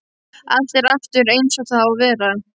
Allt er aftur einsog það á að vera.